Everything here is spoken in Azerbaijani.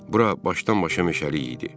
Bura başdan-başa meşəlik idi.